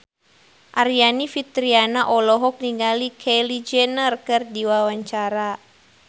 Aryani Fitriana olohok ningali Kylie Jenner keur diwawancara